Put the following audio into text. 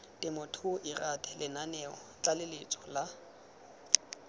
temothuo lrad lenaneo tlaleletso la